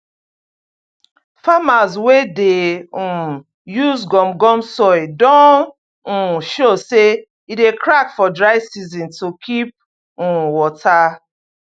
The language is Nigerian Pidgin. farmers wey dey um use gum gum soil don um show say e dey crack for dry season to keep um water